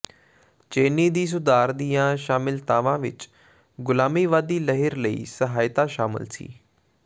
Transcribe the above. ਚੇਨੀ ਦੀ ਸੁਧਾਰ ਦੀਆਂ ਸ਼ਾਮਿਲਤਾਵਾਂ ਵਿਚ ਗ਼ੁਲਾਮੀਵਾਦੀ ਲਹਿਰ ਲਈ ਸਹਾਇਤਾ ਸ਼ਾਮਲ ਸੀ